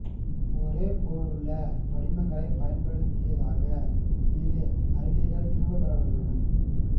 ஒரே போலுள்ள படிமங்களை பயன்படுத்தியதாக இரு அறிக்கைகள் திரும்பப் பெறப்பட்டுள்ளன